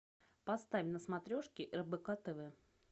поставь на смотрешке рбк тв